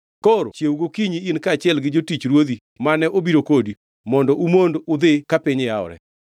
Koro chiew gokinyi in kaachiel gi jotich ruodhi mane obiro kodi mondo umond udhi ka piny yawore.”